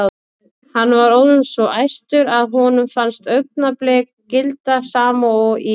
Hann var orðinn svo æstur að honum fannst augnablik gilda sama og í